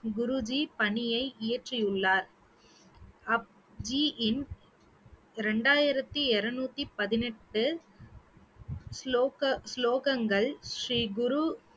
குருஜி பணியை இயற்றியுள்ளார் அப்~ ஜியின் ரெண்டாயிரத்து இருநூற்றி பதினெட்டு ஸ்லோக~ ஸ்லோகங்கள் ஸ்ரீகுரு